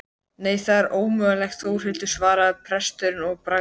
Nei það er ómögulegt Þórhildur, svarar presturinn að bragði.